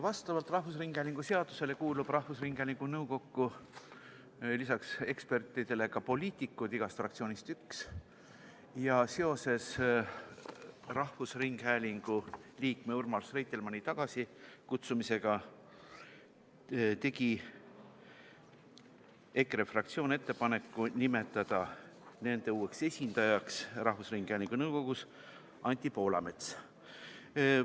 Vastavalt rahvusringhäälingu seadusele kuulub rahvusringhäälingu nõukokku lisaks ekspertidele ka poliitikuid, igast fraktsioonist üks, ja seoses rahvusringhäälingu liikme Urmas Reitelmanni tagasikutsumisega tegi EKRE fraktsioon ettepaneku nimetada nende uueks esindajaks rahvusringhäälingu nõukogus Anti Poolamets.